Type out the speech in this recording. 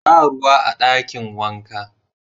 Ba ruwa a dakin wanka.